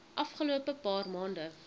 afgelope paar maande